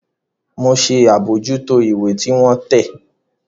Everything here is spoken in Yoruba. Mọ ṣe abojuto ìwé tí wọn tẹ